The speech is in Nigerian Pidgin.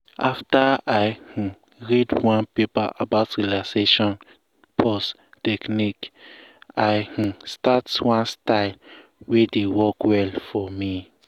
after i um read one paper about relaxation pause technique i um start one style um wey dey work well for me